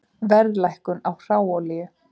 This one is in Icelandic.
Verðlækkun á hráolíu